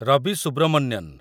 Ravi Subramanian